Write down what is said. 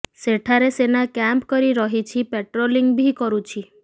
ଏଠାରେ ସେନା କ୍ୟାମ୍ପ କରି ରହିଛି ପାଟ୍ରୋଲିଂ ବି କରୁଛି